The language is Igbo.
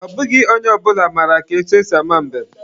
Ọ bụghị onye ọ bụla mara ka etu esi ama mbem.